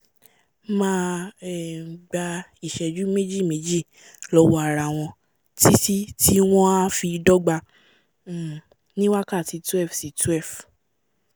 máa um gba ìsẹ́jù méjì-méjì lọ́wọ́ arawọn títí tí wọ́n a fi dọ́gba um ní wákàtí 12 sí 12